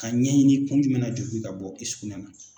Ka ɲɛɲini kun jumɛn na joli bɛ ka bɔ i sugunɛ na.